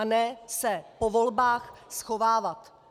A ne se po volbách schovávat.